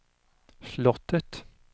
slottet